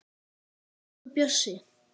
Elsku Bjössi.